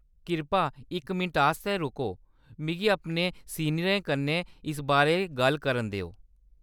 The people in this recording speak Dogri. किरपा इक मिनट आस्तै रुको। मिगी अपने सीनियरें कन्नै इस बारै गल्ल करन देओ।